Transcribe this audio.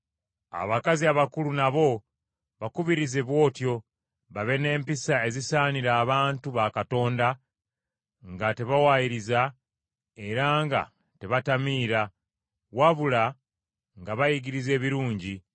Abakazi abakulu nabo bakubirize bw’otyo babe n’empisa ezisaanira abantu ba Katonda, nga tebawaayiriza, era nga tebatamiira, wabula nga bayigiriza ebirungi,